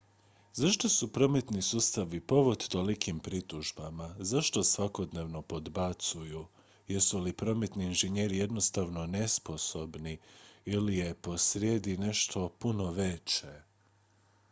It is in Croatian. zašto su prometni sustavi povod tolikim pritužbama zašto svakodnevno podbacuju jesu li prometni inženjeri jednostavno nesposobni ili je posrijedi nešto puno veće